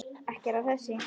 Ekki er það þessi.